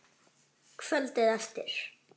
Kvöldið eftir.